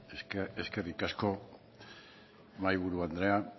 eskerrik asko mahaiburu andrea